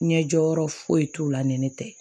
Ɲɛ jɔyɔrɔ foyi t'o la ni ne tɛ